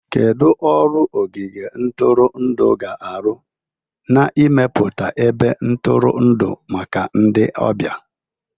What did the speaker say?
Kedu ọrụ ogige ntụrụndụ ga-arụ n'ịmepụta ebe ntụrụndụ maka ndị ọbịa?